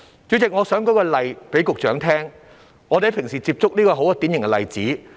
主席，我想給局長舉一個我們平時接觸到的典型例子。